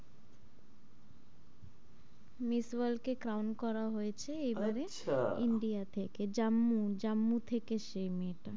Miss world কে crown করা হয়েছে এবারে, আচ্ছা india থেকে জম্মু জম্মু থেকে সেই মেয়েটা,